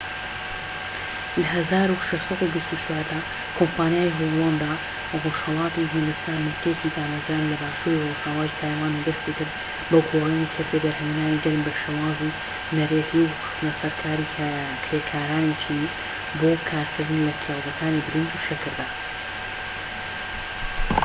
لە ١٦٢٤ دا کۆمپانیای هۆڵەندا ڕۆژهەڵاتی هیندستان بنکەیەکی دامەزراند لە باشووری ڕۆژئاوای تایوان و دەستی کرد بە گۆڕینی کردەی بەرهەمهێنانی گەنم بە شێوازی نەریتی و خستنەسەرکاری کرێکارانی چینی بۆ کارکردن لە کێڵگەکانی برنج و شەکردا